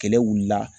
Kɛlɛ wuli la